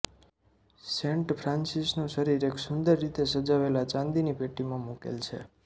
Saint ફ્રાંસીસનું શરીર એક સુંદર રીતે સજાવેલા ચાંદીની પેટીમાં મુકેલ છે